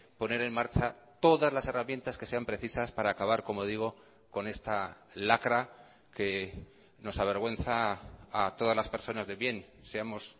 poner en marcha todas las herramientas que sean precisas para acabar como digo con esta lacra que nos avergüenza a todas las personas de bien seamos